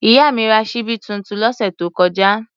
Ìyá mi ra ṣíbí tuntun lọ́sẹ̀ tó kọjá.